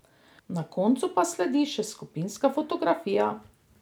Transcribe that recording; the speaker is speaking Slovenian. Na koncu pa sledi še skupinska fotografija!